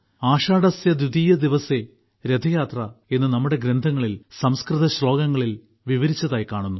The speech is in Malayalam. ആഷാഢസ്യദ്വിതീയദിവസേ രഥയാത്ര എന്ന് നമ്മുടെ ഗ്രന്ഥങ്ങളിൽ സംസ്കൃത ശ്ലോകങ്ങളിൽ വിവരിച്ചതായി കാണുന്നു